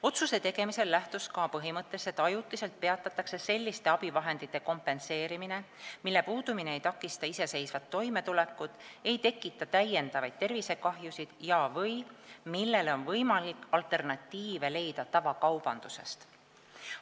Otsuse tegemisel lähtus SKA põhimõttest, et ajutiselt peatatakse selliste abivahendite kompenseerimine, mille puudumine ei takista iseseisvat toimetulekut, ei tekita täiendavaid tervisekahjusid ja/või millele on võimalik leida alternatiive tavakaubandusest.